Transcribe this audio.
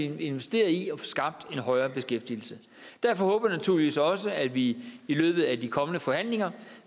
at vi investerer i at få skabt en højere beskæftigelse derfor håber jeg naturligvis også at vi i løbet af de kommende forhandlinger